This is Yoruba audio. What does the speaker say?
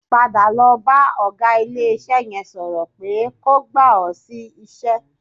Padà lọ bá ọ̀gá ilé-iṣẹ́ yẹn sọ̀rọ̀ pé kó gbà ọ́ sí iṣẹ́